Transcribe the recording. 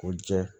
O jɛ